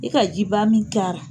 E ka jiba min k'a ra.